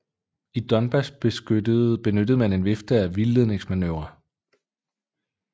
I Donbas benyttede man en vifte af vildledningsmanøvrer